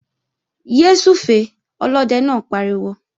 Yé súfèé! Olóde náà pariwo